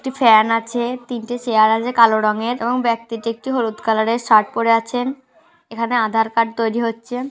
একটি ফ্যান আছে তিনটে চেয়ার আছে কালো রঙের এবং ব্যক্তিটি একটি হলুদ কালার -এর শার্ট পড়ে আছেন। এখানে আধার কার্ড তৈরি হচ্ছে ।